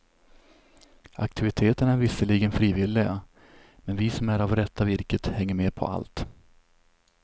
Aktiviteterna är visserligen frivilliga, men vi som är av rätta virket hänger med på allt.